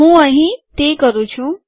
હું અહીં તે કરું છું